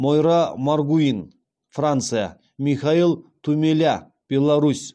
мойра маргуин франция михаил тумеля беларусь